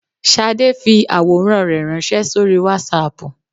Shadé fi àwòrán rẹ̀ ránsé sórí Wásaàpù